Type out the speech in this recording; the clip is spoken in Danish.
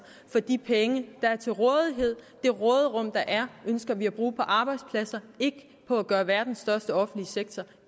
for de penge der er til rådighed det råderum der er ønsker vi at bruge på arbejdspladser ikke på at gøre verdens største offentlige sektor